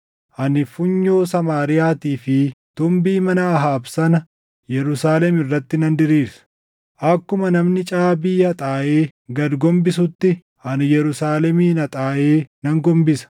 Ani funyoo Samaariyaatii fi tumbii mana Ahaab sana Yerusaalem irratti nan diriirsa. Akkuma namni caabii haxaaʼee gad gombisutti ani Yerusaalemin haxaaʼee nan gombisa.